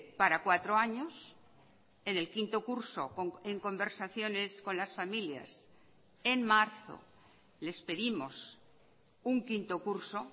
para cuatro años en el quinto curso en conversaciones con las familias en marzo les pedimos un quinto curso